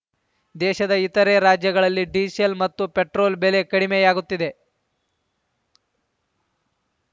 ದೇಶದ ಇತರೆ ರಾಜ್ಯಗಳಲ್ಲಿ ಡೀಸೆಲ್‌ ಮತ್ತು ಪೇಟ್ರೋಲ್‌ ಬೆಲೆ ಕಡಿಮೆಯಾಗುತ್ತಿದೆ